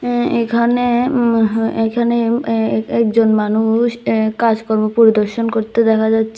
উম এখানে উমহ এইখানে অ্যা অ্যা একজন মানুষ অ্যা কাজকর্ম পরিদর্শন করতে দেখা যাচ্ছে।